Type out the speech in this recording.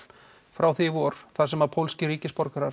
frá því í vor þar sem pólskir ríkisborgarar